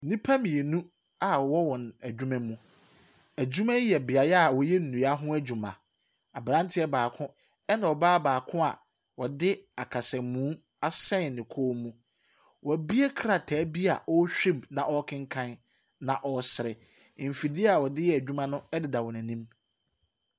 Nnipa mmienu a ɔwɔ wɔn adwuma mu. Adwuma yi yɛ beaeɛ ɔyɛ nnua ho adwuma. Abranteɛ baako ne ɔbaa baako a ɔde akasamuu asɛn ne kɔn mu. Wɔbue krataa bi ɔrehwɛ mu na ɔrekenkan na ɔresrɛ. Mfidie a ɔdeeyɛ adwuma no ɛde da wɔn anim.